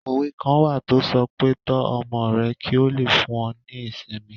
Òwe kan wà tó sọ pé "Tọ́ ọmọ rẹ kí ó lè fún ọ ní ìsinmi"